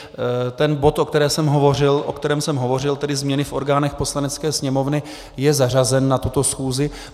Ten bod, o kterém jsem hovořil, tedy změny v orgánech Poslanecké sněmovny, je zařazen na tuto schůzi.